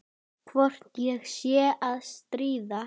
Hvort ég sé að stríða.